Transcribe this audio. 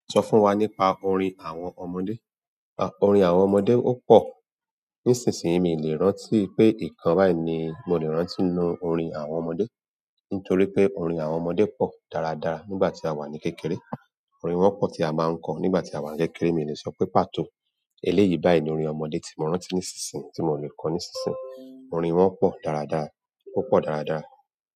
Sọ fún wa nípa orin àwọn ọmọdé. Orin àwọn ọmọdé ó pọ. Nísinsìnyí mi ò lè rántí pé ìkan báyìí ni mo lè rántí nu orin àwọn ọmọdé. Nítorí pé orin àwọn ọmọdé pò dáradára nígbà tí a wà ní kékeré. Orin wọn pọ̀ tí a máa ń kọ nígbà tí a wà ní kékeré. Mi ò lè sọ pé pàtó eléyìí báyìí ni orin ọmọdé tí mo rántí nísinsìnyí tí mo le kọ nísinsìnyí. Orin wọn pọ̀ dáradára. Ó pọ dáradára.